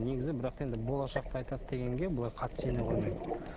негізі бірақ та енді болашақты айтады дегенге былай қатты сене қоймаймын